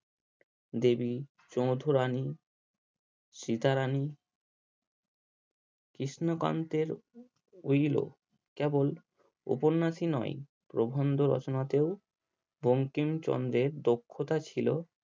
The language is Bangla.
দেবী চৌধুরানী সীতা রানী কৃষ্ণকান্তের কেবল উপন্যাসই নয় প্রবন্ধ রচনাতেও বঙ্কিমচন্দের দক্ষতা ছিল